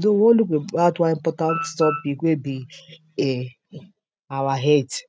Though we wan look at one important topic wey be our health,